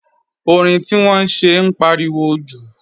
Orin tí wọ́n ń ṣe ń pariwo jù